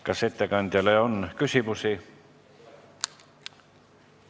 Kas ettekandjale on küsimusi?